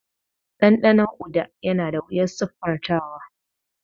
Dandanon Uda yana da wuyar siffantawa.